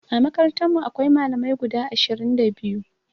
A makarantarmu akwai Malamai guda ashirin da biyu.